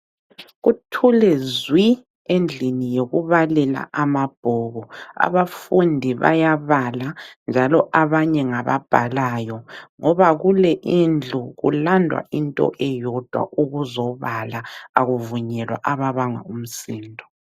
Kuthule zwii endlini yokubalela amabhuku. Abafundi bayabala njalo abanye ngababhalayo ngoba kule indlu kulandwa into eyodwa ukuzobala akuvunyelwa ababanga umsindo.